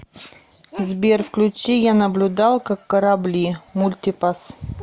сбер включи я наблюдал как корабли мультипасс